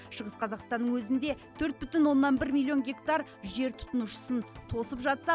шығыс қазақстанның өзінде төрт бүтін оннан бір миллион гектар жер тұтынушысын тосып жатса